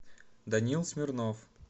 данил смирнов